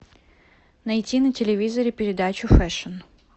найти на телевизоре передачу фэшн